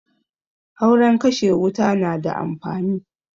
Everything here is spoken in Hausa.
Auren kashe wuta na da amfani